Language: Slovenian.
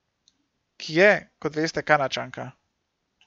Ki je, kot veste, Kanadčanka.